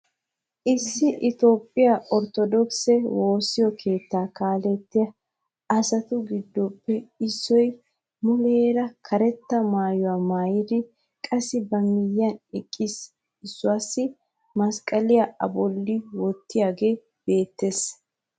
Issi itoophphiyaa orttodookisse woossa keettaa kaalettiyaa asatu giddoppe isso muleera karetta maayuwaamaayidi qassi ba miyiyan eqqisa issuwaassi masqqaliyaa a bolli wottiyaagee beettees.